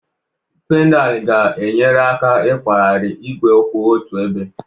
Pedalu ga-enyere aka ịkwagharị igwe kwụ otu ebe.